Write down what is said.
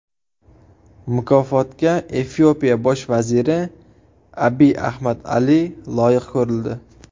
Mukofotga Efiopiya bosh vaziri Abiy Ahmad Ali loyiq ko‘rildi.